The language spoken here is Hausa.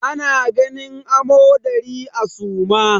Ana ganin amodari a suma.